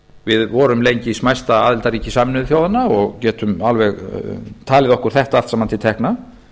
við vorum lengi smæsta aðildarríki sameinuðu þjóðanna og getum alveg talið okkur þetta allt saman til tekna